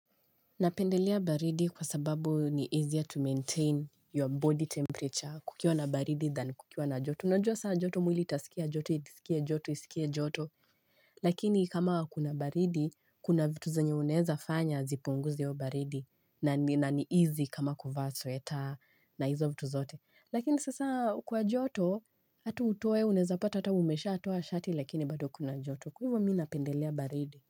Napendelea baridi kwa sababu ni easier to maintain your body temperature kukiwa na baridi than kukiwa na joto unajua sasa jotu mwili itasikia joto isikie joto isikie joto isikie joto lakini kama kuna baridi kuna vitu zenye unaweza fanya zipunguze hiyo baridi na ni na ni easy kama kuvaa sweta na hizo vitu zote Lakini sasa kwa joto hata utoe unaweza pata hata umeshatoa shati lakini bado kuna jotu kwa hivyo mimi napendelea baridi.